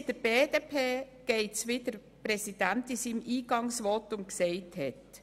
Uns in der BDP ergeht es so, wie der Präsident in seinem Eingangsvotum dargestellt hat.